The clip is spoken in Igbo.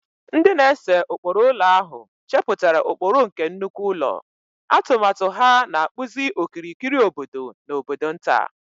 Ndị na-ese ụkpụrụ ụlọ ahụ chepụtara ụkpụrụ nke nnukwu ụlọ, atụmatụ ha na-akpụzi okirikiri obodo na obodo nta.